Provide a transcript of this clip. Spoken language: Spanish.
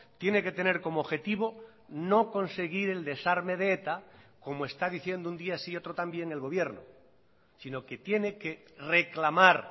tiene que tener como objetivo no conseguir el desarme de eta como está diciendo un día sí y otro también el gobierno sino que tiene que reclamar